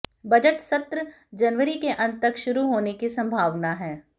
budget सत्र जनवरी के अंत तक शुरू होने की संभावना है